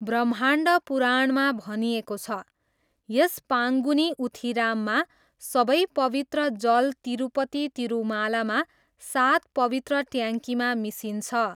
ब्रह्माण्ड पुराणमा भनिएको छ, यस पाङ्गुनी उथिराममा सबै पवित्र जल तिरूपति तिरुमालामा सात पवित्र ट्याङ्कीमा मिसिन्छ।